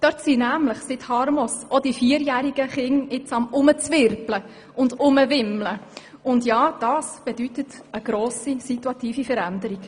Dort tummeln sich seit Harmos nämlich auch die vierjährigen Kinder, und das ist eine grosse situative Veränderung.